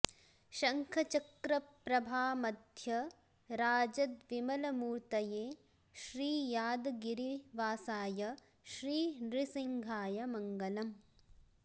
शङ्ख चक्र प्रभामध्य राजद्विमलमूर्तये श्री यादगिरिवासाय श्री नृसिंहाय मङ्गलम्